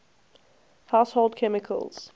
household chemicals